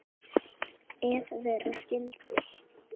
Ef vera skyldi.